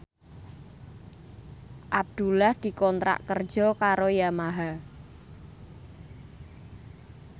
Abdullah dikontrak kerja karo Yamaha